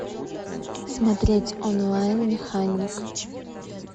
смотреть онлайн механик